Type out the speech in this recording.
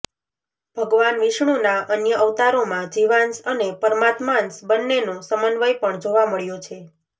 ભગવાન વિષ્ણુના અન્ય અવતારોમાં જીવાંશ અને પરમાત્માંશ બંનેનો સમન્વય પણ જોવા મળ્યો છે